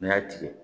N'i y'a tigɛ